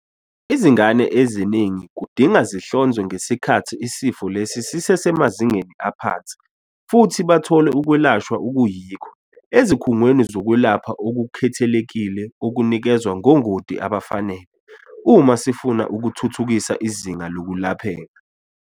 Izingane eziningi kudinga zihlonzwe ngesikhathi isifo lesi sisesemazingeni aphansi futhi bathole ukwelashwa okuyikho - ezikhungweni zokwelapha okukhethekile okunikezwa ngongoti abafanele - uma sifuna ukuthuthukisa izinga lokulapheka.